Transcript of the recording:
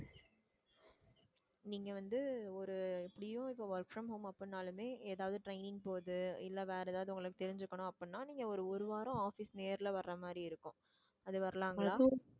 நீங்க வந்து ஒரு எப்படியும் இப்ப work from home அப்படின்னாலுமே ஏதாவது training போறது இல்லை வேற ஏதாவது உங்களுக்கு தெரிஞ்சுக்கணும் அப்படின்னா நீங்க ஒரு ஒரு வாரம் office நேர்ல வர்ற மாதிரி இருக்கும் அது வரலாங்களா